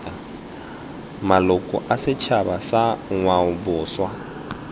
maloko a setšhaba sa ngwaoboswa